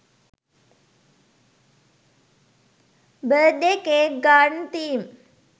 birthday cake garden theme